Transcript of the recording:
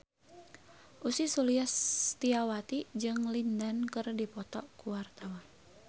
Ussy Sulistyawati jeung Lin Dan keur dipoto ku wartawan